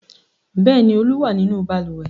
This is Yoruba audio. Bẹ́ẹ̀ ni, Olú wà nínú balùwẹ̀.